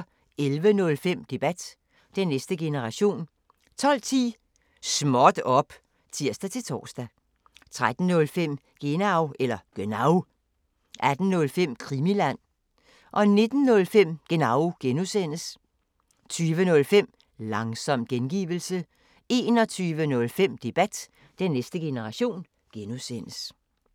11:05: Debat: Den næste generation 12:10: Småt op! (tir-tor) 13:05: Genau 18:05: Krimiland 19:05: Genau (G) 20:05: Langsom gengivelse 21:05: Debat: Den næste generation (G)